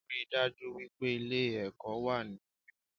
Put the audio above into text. Ríi dájú wípé Ilé èkó wà ní mímó